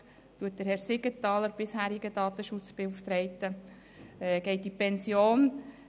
Bekanntlich geht der bisherige Datenschutzbeauftragte, Herr Siegenthaler, in Pension.